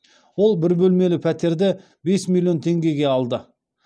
ол бір бөлмелі пәтерді бес миллион теңгеге алды